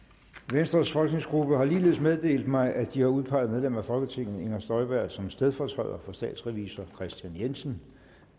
venstres folketingsgruppe har ligeledes meddelt mig at de har udpeget medlem af folketinget inger støjberg som stedfortræder for statsrevisor kristian jensen